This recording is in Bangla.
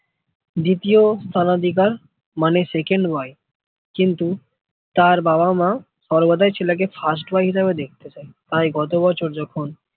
দ্বিতীয় স্থান অধিকার মানে second ওয়াই কিন্তু তার বাবা মা ছেলেকে first দেখতে চাই তাই কত বছর যখন